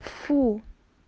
фу